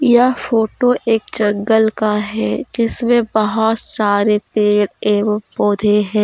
यह फोटो एक जंगल का है जिसमें बहुत सारे पेड़ एवं पौधे हैं।